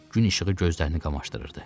Gün işığı gözlərini qamaşdırırdı.